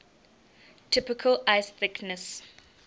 typical ice thickness